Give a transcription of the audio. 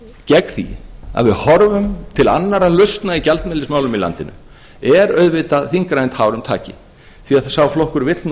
gegn því að við horfum til annarra lausna í gjaldmiðilsmálum í landinu er auðvitað þyngra en tárum taki því sá flokkur vill nú